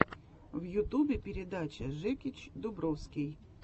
в ютубе передача жекич дубровский